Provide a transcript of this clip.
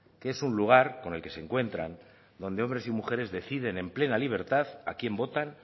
que es un lugar con el que se encuentran donde hombres y mujeres deciden en plena libertad a quien votan